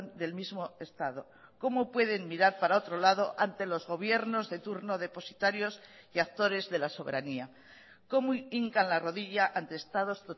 del mismo estado cómo pueden mirar para otro lado ante los gobiernos de turno depositarios y actores de la soberanía cómo hincan la rodilla ante estados